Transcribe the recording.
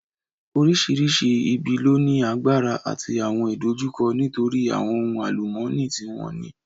Oríṣiríṣi ibi ló ní agbára àti àwọn ìdojúkọ nítorí àwọn ohun àlùmọ́nì tí wọ́n ní